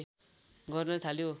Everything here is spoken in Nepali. गर्न थाल्यो